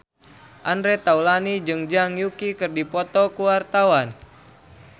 Andre Taulany jeung Zhang Yuqi keur dipoto ku wartawan